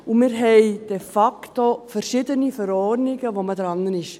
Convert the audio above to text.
Und wir haben de facto verschiedene Verordnungen, an denen man dran ist.